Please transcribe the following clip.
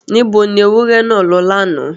Níbo ni ewúrẹ́ náà lọ lánàá?